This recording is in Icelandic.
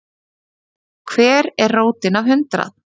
Hver er rótin af hundrað?